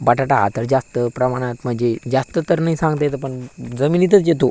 बटाटा हा तर जास्त प्रमाणात म्हणजे जास्त तर नाही सांगता येत पण जमीनितच येतो.